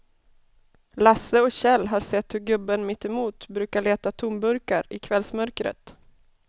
Lasse och Kjell har sett hur gubben mittemot brukar leta tomburkar i kvällsmörkret.